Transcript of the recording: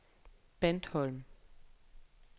Bandholm